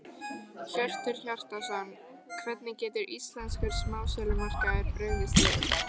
Hjörtur Hjartarson: Hvernig getur íslenskur smásölumarkaður brugðist við?